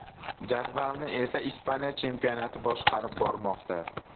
Jadvalni esa Ispaniya chempionati boshqarib bormoqda.